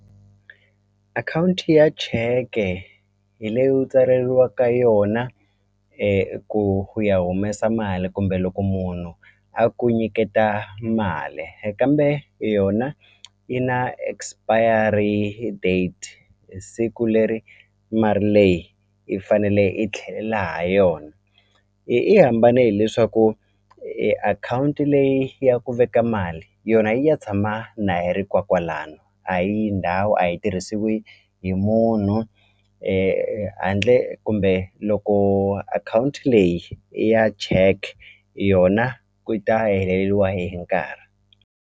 Akhawunti ya cheke hi leyi u tsaleriwaka yona ku ku ya humesa mali kumbe loko munhu a ku nyiketa mali e kambe yona yi na expiry date siku leri leyi yi fanele yi tlhelela ha yona i i hambane hileswaku akhawunti leyi ya ku veka mali yona yi ya tshama na yi ri kwa kwalano a yi ndhawu a yi tirhisiwi hi munhu handle kumbe loko akhawunti leyi i ya check yona ku ta heleliwa hi nkarhi.